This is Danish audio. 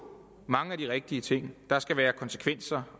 mange af de rigtige ting nemlig der skal være konsekvenser